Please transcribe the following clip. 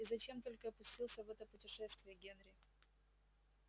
и зачем только я пустился в это путешествие генри